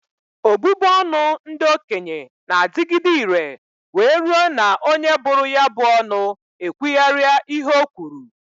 Obubu ọnụ ndị okenye n'adịgide ire wee rue na onye bụrụ ya bụ ọnụ ekwugharịa ihe o kwuru